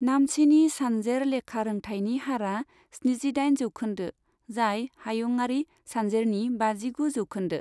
नामचिनि सानजेर लेखारोंथायनि हारआ स्निजिदाइन जौखोन्दो, जाय हायुंआरि सानजेरनि बाजिगु जौखोन्दो।